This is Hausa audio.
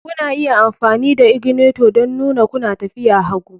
Kuna iya amfani da ignitor don nuna kuna tafiya hagu